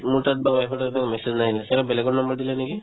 মোৰ তাত বা wife ৰ তাতে message নাহিলে ছাগে বেলেগৰ number দিলে নেকি ?